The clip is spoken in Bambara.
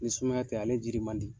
Ni sumaya tɛ ale jiri man di.